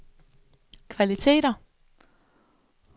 kvaliteter